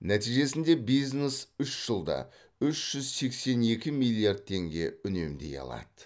нәтижесінде бизнес үш жылда үш жүз сексен екі миллиард теңге үнемдей алады